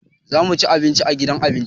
Za mu ci abinci a gidan abinci.